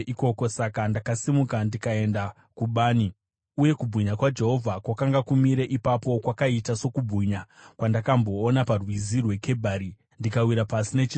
Saka ndakasimuka ndikaenda kubani. Uye kubwinya kwaJehovha kwakanga kumire ipapo, kwakaita sokubwinya kwandakamboona paRwizi rweKebhari, ndikawira pasi nechiso changu.